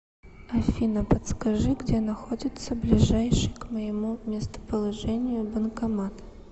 афина подскажи где находится ближайший к моему местоположению банкомат